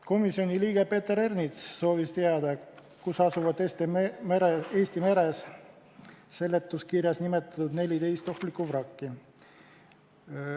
Komisjoni liige Peeter Ernits soovis teada, kus asuvad Eesti meres seletuskirjas nimetatud 14 ohtlikku vrakki.